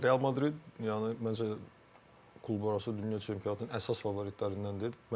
Real Madrid yəni, məncə, klublararası Dünya Çempionatının əsas favoritlərindəndir.